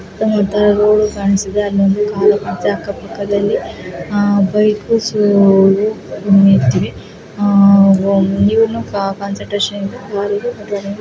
Road ಕಾಣಸ್ತಿದೆ car ಕಾಣಸ್ತಿದೆ ಅಲ್ಲಿ ಬೈಕು ನಿಂತಿವೆ ಕಾನ್ಸನ್ಟ್ರೇಷನ್ ನಿಂದ.